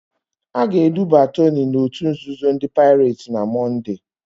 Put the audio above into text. A ga-eduba Toni n'òtù nzuzo ndị Paịret na Mọnde.